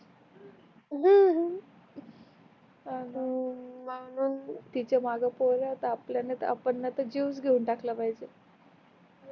आणि तिच्या माग कोण आहेत आपल्याला आपण जीवन घेऊन टाकला पाहिजे